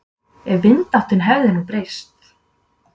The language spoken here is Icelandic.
Ef vindáttin hefði nú breyst.